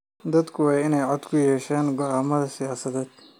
Dadku waa inay cod ku yeeshaan go'aamada siyaasadeed.